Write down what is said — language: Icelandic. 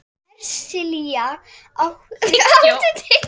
Hersilía, áttu tyggjó?